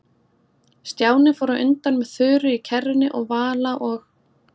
Stjáni fór á undan með Þuru í kerrunni og Vala og